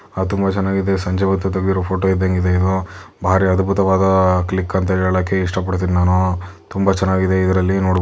ಆ ತುಂಬಾ ಚೆನ್ನಾಗಿದೆ ಸಂಜೆ ಹೊತ್ತು ತೆಗೆದಿರು ಫೋಟೊ ಇದ್ದಂಗ್ ಇದೆ ಭಾರಿ ಅದ್ಬುತವಾದ್ ಕ್ಲಿಕ್ ಅಂತ ಹೇಳಕ್ ಇಷ್ಟ ಪಡ್ತಿನಿ ನಾನು ತುಂಬಾ ಚೆನ್ನಾಗಿದೆ ಇದ್ರಲ್ಲಿ--